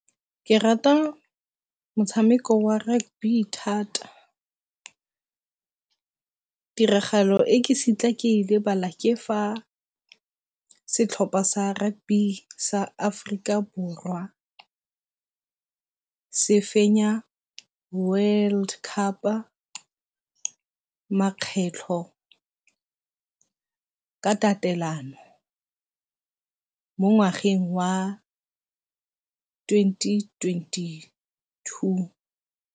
Ke rata motshameko wa rugby thata, tiragalo e ke se kitla ke e lebala ke fa setlhopha sa rugby sa Aforika Borwa se fenya world cup-a makgetlho ka tatelano mo ngwageng wa twenty twenty-two.